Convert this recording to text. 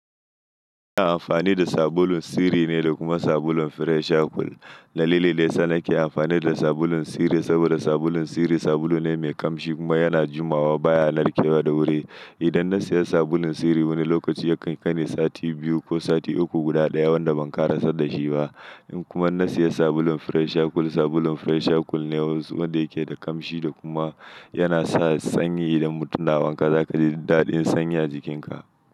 Ina amfani da sabulun Siri ne da kuma sabulun Fresh Cool. Dalilin da yasa nake amfani da sabulun Siri saboda sabulun Siri sabulu ne mai kamshi kuma yana jumawa baya narke wa da wuri. Idan na siya sabulun Siri wani lokaci yakan kaini sati biyu ko sati uku guda daya wanda ban karasa dashi ba. In kuma na siya sabulun Fresh Cool, sabulun Fresh Cool ne wanda yake da kamshi da kuma yana sa sanyi idan mutum na wanka za ka ji daɗin sanyi a jikinka.